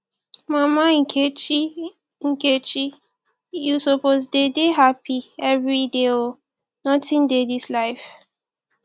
mama nkechi nkechi you suppose dey dey hapi everyday o nothing dey dis life